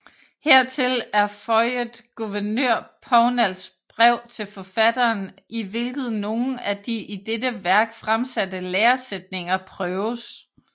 Hertil er føiet gouvernør Pownals brev til forfatteren i hvilket nogle af de i dette wærk fremsatte læresættninger prøves